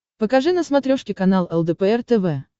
покажи на смотрешке канал лдпр тв